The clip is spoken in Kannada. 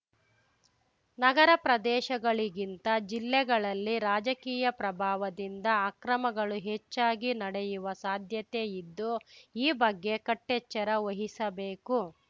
ನಗರ ಪ್ರದೇಶಗಳಿಗಿಂತ ಜಿಲ್ಲೆಗಳಲ್ಲಿ ರಾಜಕೀಯ ಪ್ರಭಾವದಿಂದ ಅಕ್ರಮಗಳು ಹೆಚ್ಚಾಗಿ ನಡೆಯುವ ಸಾಧ್ಯತೆ ಇದ್ದು ಈ ಬಗ್ಗೆ ಕಟ್ಟೆಚ್ಚರ ವಹಿಸಬೇಕು